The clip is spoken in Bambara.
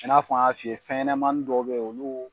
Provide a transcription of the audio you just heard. Ka n'a fɔ' n yan fiye, fɛn ɲɛnɛmani dɔw bɛ ye olu.